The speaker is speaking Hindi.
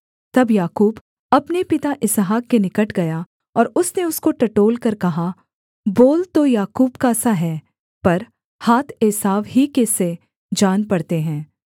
तब याकूब अपने पिता इसहाक के निकट गया और उसने उसको टटोलकर कहा बोल तो याकूब का सा है पर हाथ एसाव ही के से जान पड़ते हैं